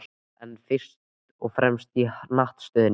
En fyrst og fremst í hnattstöðunni.